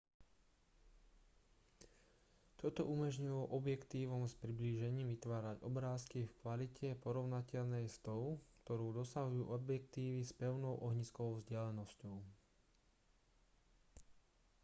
toto umožnilo objektívom s priblížením vytvárať obrázky v kvalite porovnateľnej s tou ktorú dosahujú objektívy s pevnou ohniskovou vzdialenosťou